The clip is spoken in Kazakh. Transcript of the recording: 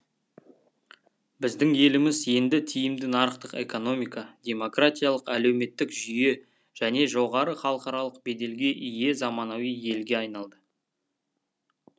біздің еліміз енді тиімді нарықтық экономика демократиялық әлеуметтік жүйе және жоғары халықаралық беделге ие заманауи елге айналды